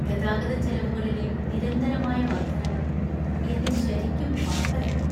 ഗതാഗതച്ചെലവുകളിലെ നിരന്തരമായ വർദ്ധനവ് എന്നെ ശരിക്കും പാപ്പരാക്കി.